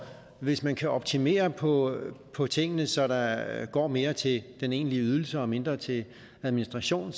hvis man kan optimere på på tingene så der går mere til den egentlige ydelse og mindre til administration